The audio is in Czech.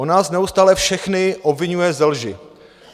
On nás neustále všechny obviňuje ze lži.